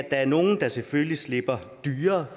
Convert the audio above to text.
er nogle der selvfølgelig slipper dyrere